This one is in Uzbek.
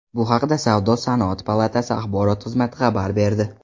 Bu haqda Savdo-sanoat palatasi axborot xizmati xabar berdi.